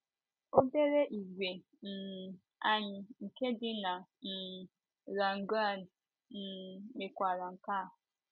Obere ìgwè um anyị nke dị na um La Grande um mekwara nke a.